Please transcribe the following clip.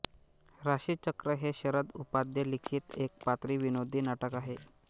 राशीचक्र हे शरद उपाध्ये लिखित एकपात्री विनोदी नाटक आहे